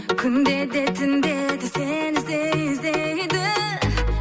күнде де түнде де сені іздей іздейді